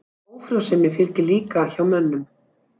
Ófrjósemi fylgir líka hjá mönnum.